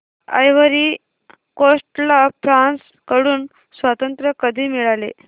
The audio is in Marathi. आयव्हरी कोस्ट ला फ्रांस कडून स्वातंत्र्य कधी मिळाले